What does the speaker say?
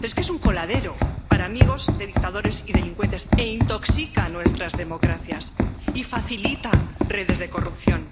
es un coladero para amigos de dictadores y delincuentes, intoxica nuestras democracias y facilita las redes de corrupción.